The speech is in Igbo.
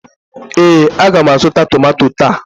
ee, a ga m azụta tomanto taa